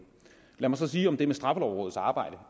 lad mig så sige om det med straffelovrådets arbejde